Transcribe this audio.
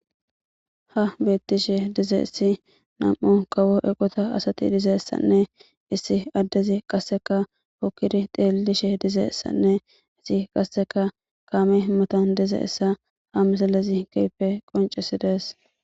Ha beetishe dizaysi nam'u kawo eqota asati dizaysane issi adezi kaseka hokidi xeelishe dizaysane issi kaseka kaame metuwan dizaysa ha misilezi keehipe qonchises.